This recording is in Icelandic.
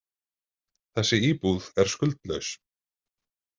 Þessi íbúð er skuldlaus.